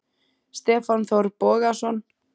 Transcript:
Stefán Þór Bogason